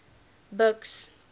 buks